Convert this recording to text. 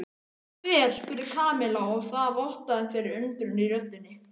Hver? spurði Kamilla og það vottaði fyrir undrun í röddinni.